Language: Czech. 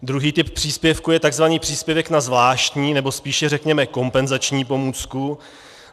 Druhý typ příspěvku je tzv. příspěvek na zvláštní, nebo spíše řekněme kompenzační pomůcku.